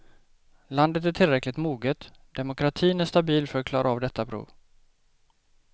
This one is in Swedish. Landet är tillräckligt moget, demokratin är stabil för att klara av detta prov.